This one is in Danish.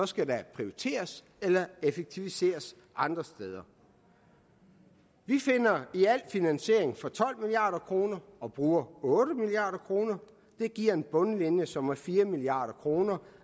skal der prioriteres eller effektiviseres andre steder vi finder i alt finansiering for tolv milliard kroner og bruger otte milliard kroner det giver en bundlinje som er fire milliard kroner